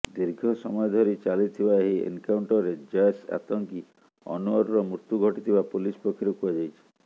ଦୀର୍ଘ ସମୟ ଧରି ଚାଲିଥିବା ଏହି ଏନ୍କାଉଣ୍ଟରରେ ଜୈଶ ଆତଙ୍କୀ ଅନୱରର ମୃତ୍ୟୁ ଘଟିଥିବା ପୁଲିସ୍ ପକ୍ଷରୁ କୁହାଯାଇଛି